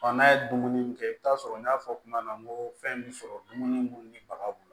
n'a ye dumuni min kɛ i bi taa sɔrɔ n y'a fɔ kuma na n ko fɛn bɛ sɔrɔ dumuni mun ni baga b'o la